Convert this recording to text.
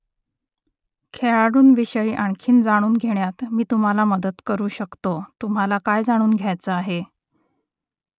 खेळाडूंविषयी आणखी जाणून घेण्यात मी तुम्हाला मदत करू शकतो तुम्हाला काय जाणून घ्यायचं आहे ?